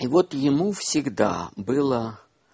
и вот ему всегда было